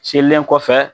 Selen kɔfɛ